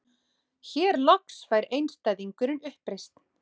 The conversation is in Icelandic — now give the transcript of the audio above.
Hér loks fær einstæðingurinn uppreisn.